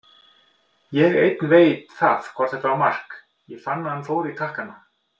Ég einn veit það hvort þetta var mark, ég fann að hann fór í takkana.